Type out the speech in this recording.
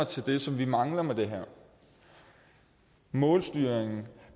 til det som vi mangler med det her målstyringen